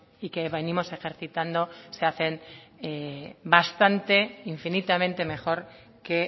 y que venimos ejercitando se hacen bastante infinitamente mejor que